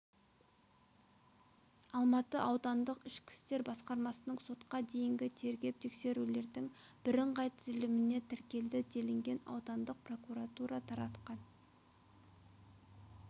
алматы аудандық ішкі істер басқармасының сотқа дейінгі тергеп-тексерулердің бірыңғай тізіліміне тіркелді делінген аудандық прокуратура таратқан